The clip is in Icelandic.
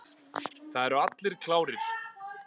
Það eru allir klárir.